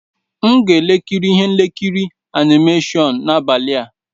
M ga-ekiri ihe nkiri animashon n'abalị a.